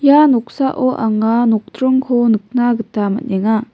ia noksao anga nokdringko nikna gita man·enga.